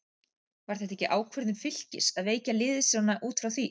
Var þetta ekki ákvörðun Fylkis að veikja liðið svona út frá því?